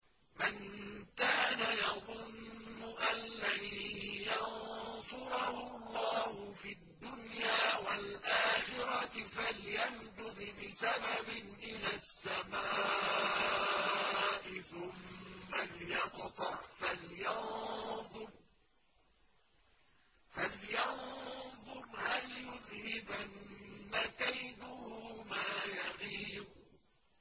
مَن كَانَ يَظُنُّ أَن لَّن يَنصُرَهُ اللَّهُ فِي الدُّنْيَا وَالْآخِرَةِ فَلْيَمْدُدْ بِسَبَبٍ إِلَى السَّمَاءِ ثُمَّ لْيَقْطَعْ فَلْيَنظُرْ هَلْ يُذْهِبَنَّ كَيْدُهُ مَا يَغِيظُ